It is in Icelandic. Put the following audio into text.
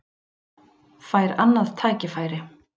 Fær annað tækifæri